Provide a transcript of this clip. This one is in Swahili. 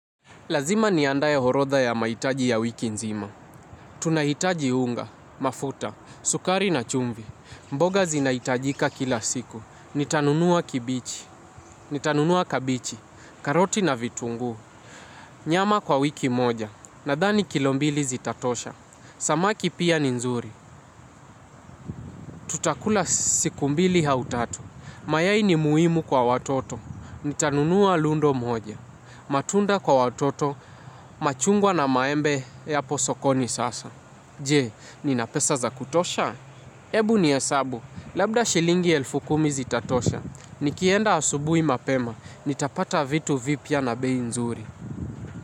Lazima niandae orodha ya mahitaji ya wiki nzima. Tunahitaji unga, mafuta, sukari na chumvi. Mboga zinahitajika kila siku. Nitanunua kibichi, nitanunua kabichi, karoti na vitunguu. Nyama kwa wiki moja, nadhani kilo mbili zitatosha. Samaki pia ni nzuri, tutakula siku mbili au tatu. Mayai ni muhimu kwa watoto. Nitanunua lundo moja. Matunda kwa watoto, machungwa na maembe yapo sokoni sasa je, nina pesa za kutosha? Ebu nihesabu, labda shilingi elfu kumi zitatosha. Nikienda asubui mapema, nitapata vitu vipya na bei nzuri.